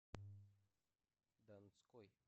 донской